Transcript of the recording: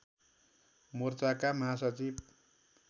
मोर्चाका महासचिव